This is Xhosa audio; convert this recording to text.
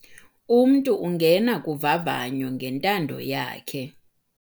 Umntu ungena kuvavanyo ngentando yakhe.